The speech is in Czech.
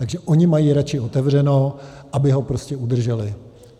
Takže oni mají radši otevřeno, aby ho prostě udrželi.